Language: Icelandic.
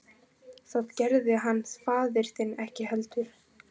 Það gerði hann faðir þinn ekki heldur.